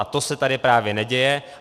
A to se tady právě neděje.